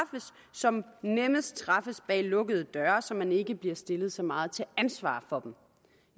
som nemmest træffes bag lukkede døre så man ikke bliver stillet så meget til ansvar for dem